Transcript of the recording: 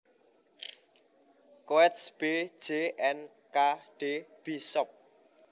Coates B J and K D Bishop